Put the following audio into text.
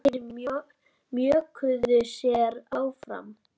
Þeir mjökuðu sér áfram.